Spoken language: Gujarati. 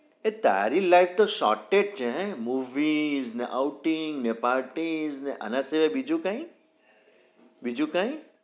એ તારી life તો sorted છે હે movie ને outing ને parties ને આના સિવાય બીજું કાઈ બીજું કઈ?